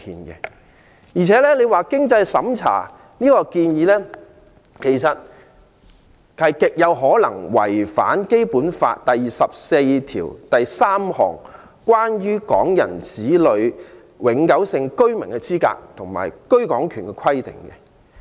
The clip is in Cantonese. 而且，經濟審查的建議，其實極有可能違反《基本法》第二十四條第二款第三項，關於港人子女的永久性居民資格及居港權規定。